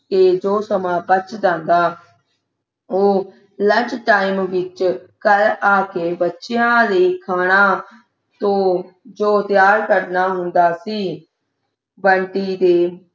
ਤੇ ਜੋ ਸਮਾਂ ਬਚ ਜਾਂਦਾ ਉਹ lunch time ਵਿੱਚ ਘਰ ਆ ਕੇ ਬੱਚਿਆਂ ਲਈ ਖਾਣਾ ਤੂੰ ਜੋ ਤਿਆਰ ਕਰਨਾ ਹੁੰਦਾ ਸੀ ਬੰਟੀ ਦੇ